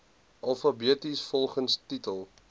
alfabeties volgens titel